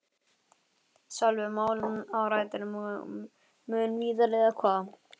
Sölvi: Málið á rætur mun víðar eða hvað?